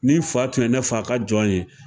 Nin fa tun ye ne fa ka jɔn ye